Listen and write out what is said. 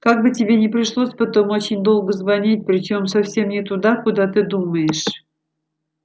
как бы тебе не пришлось потом очень долго звонить причём совсем не туда куда ты думаешь